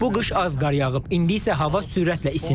Bu qış az qar yağıb, indi isə hava sürətlə isinir.